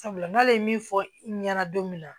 Sabula n'ale ye min fɔ i ɲɛna don min na